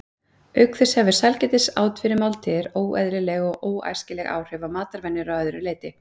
Auk þess hefur sælgætisát fyrir máltíðir óeðlileg og óæskileg áhrif á matarvenjur að öðru leyti.